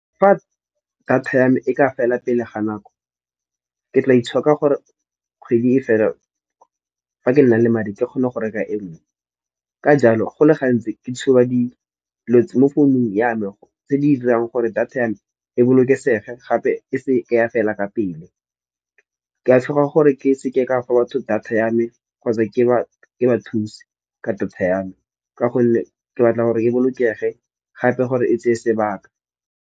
Fa data ya me e ka fela pele ga nako ke tla itshoka gore kgwedi e fela fa ke nnang le madi ke kgone go reka e nngwe. Ka jalo, go le gantsi ke tshuba di mo founung ya me tse di dirang gore data ya e bolokesege gape e seke ya fela ka pele. Ke a tshoga gore ke seke ka fa batho data ya me kgotsa ke ba ba thuse ka data ya me, ka gonne ke batla gore e bolokege gape gore e tseye sebaka.